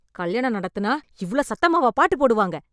கல்யாணம் நடத்தினா இவ்ளோ சத்தமாவா பாட்டுப் போடுவாங்க?